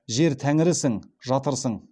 жер тәңірісің жатырсың